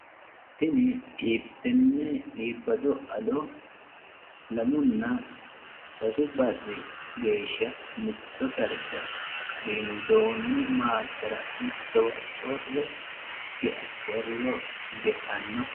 Tenne iibbado addo lamuna sasu barri geesha mitto darga qadiindoonni maaqqera mittowa corriro ge'anno.